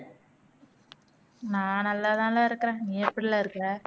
நான் நல்லா தான்ல இருக்கிறேன் நீ எப்படில இருக்கிற